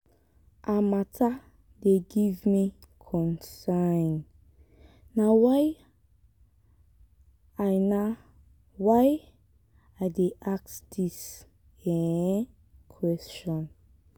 her mata dey give me concern na why i na why i dey ask dis um question.